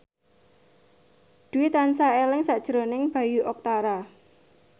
Dwi tansah eling sakjroning Bayu Octara